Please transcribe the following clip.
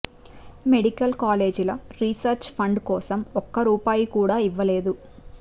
medical కాలేజీల research fund కోసం ఒక్క రూపాయి కూడా ఇవ్వలేదు